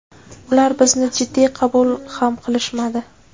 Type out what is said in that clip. Ular bizni jiddiy qabul ham qilishmadi.